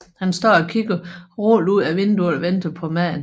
Han står og kigger uroligt ud af vinduet og venter på maden